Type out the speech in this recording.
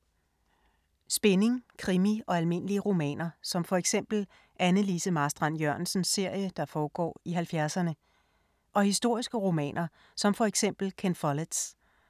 Spænding, krimi og almindelige romaner som for eksempel Anne Lise Marstrand-Jørgensens serie, der foregår i 70’erne. Og historiske romaner som for eksempel Ken Folletts.